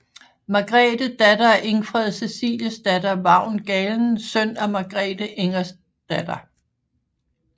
Margrethe datter af Ingfred Ceciliesdatter Vagn Galen søn af Margrethe Ingerdsdatter